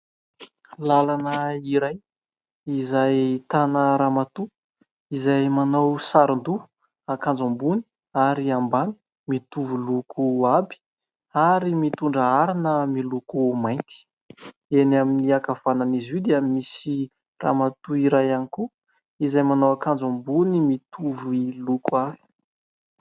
Lalana iray izay ahitana ramatoa izay manao saron-doha, akanjo ambony ary ambany mitovy loko aby ary mitondra harona miloko mainty. Eny amin'ny ankavanan'izy io dia misy ramatoa iray any koa izay manao akanjo ambony mitovy loko ahy.